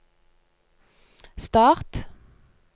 start